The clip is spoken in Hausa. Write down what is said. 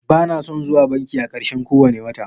Bana son zuwa banki a ƙarshen kowane wata.